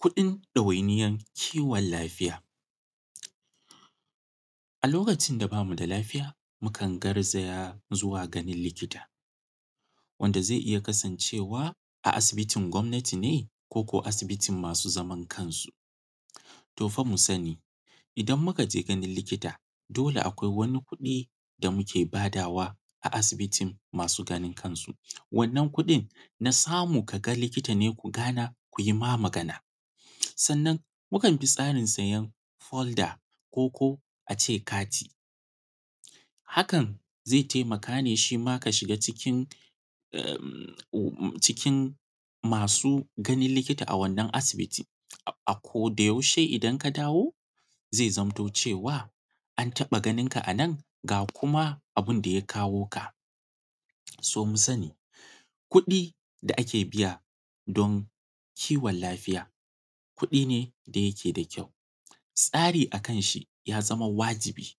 Kuɗin ɗawainiyar kiwon lafiya. A lokacin da ba mu da lafiya, mukan garzaya zuwa ganin likita, wanda zai iya kasancewa a asibitin gwamnati ne, ko ko asibiti masu zaman kansu? To fa! Mu sani, idan muka je ganin likita, dole akwai wani kuɗi da muke badawa a asibitin masu zaman kansu. Wannan kuɗin na samu ka ga likita ne ku gana, ku yi ma magana. Sannan mukan bi tsarin sayen folda, ko ko a ce kati. Hakan zai taimaka ne shi ma ka shiga cikin masu ganin lokita a wannan asibiti. A ko da yaushe idan ka dawo zai zamto cewa, an taɓa ganin ka a nan ga kuma abin da ya kawo ka. So, mu sani, kuɗi da ake biya don kiwon lafiya, kuɗi ne da yake da kyau. Tsari a kan shi ya zama wajibi,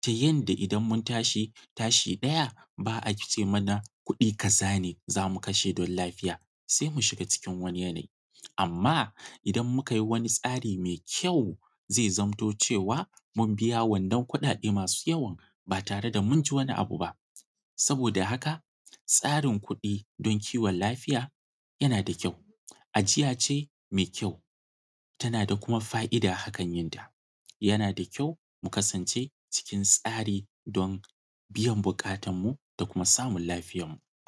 ta yanda idan mun tashi, tashi ɗaya, ba a ce mana kuɗi kaza ne za mu kashe don lafiya, sai mu shiga cikin wani yanayi. Amma, idan muka yi wani tsari mai kyau, zai zamto cewa, mun biya wannan kuɗaɗe masu yawa ba tare da mun ji wani abu ba. Saboda haka, tsarin kuɗi don kiwon lafiya yana da kyau. Ajiya ce mai kyau. tana da kuma fa’ida hakan yin ta., Yana da kyau ku kasance cikin tsari don biyan buƙatanmu da kuma samun lafiyanmu.